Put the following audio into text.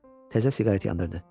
Təzə siqaret yandırdı.